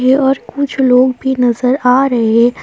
और कुछ लोग भी नजर आ रहे--